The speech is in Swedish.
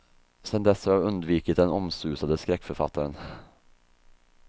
Sen dess har jag undvikit den omsusade skräckförfattaren.